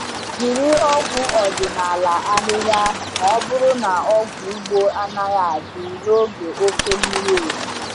Jiri ọgwụ ọdịnala ahịhịa ma ọ bụrụ na ọgwụ ugbo anaghị adị n’oge oke mmiri ozuzo.